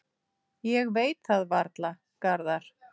Ég veit það varla, Garðar.